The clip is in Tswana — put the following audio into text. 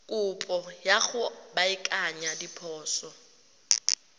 kopo ya go baakanya diphoso